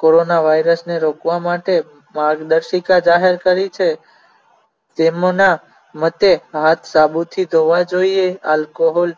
corona વાયરસને રોકવા માટે માર્ગદર્શિકા જાહેર કરી છે તેમના મતે હાથ સાબુથી ધોવા જોઈએ alcohol